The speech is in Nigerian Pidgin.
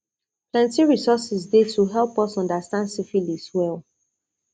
plenty resources dey to help us understand syphilis well